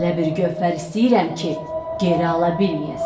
Elə bir gövhər istəyirəm ki, geri ala bilməyəsən.